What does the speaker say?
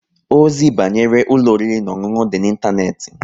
Ozi banyere ụlọ oriri na ọṅụṅụ dị n'Ịntaneti